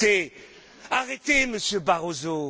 mais arrêtez, arrêtez, Monsieur Barroso!